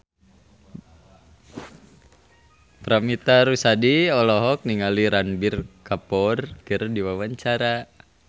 Paramitha Rusady olohok ningali Ranbir Kapoor keur diwawancara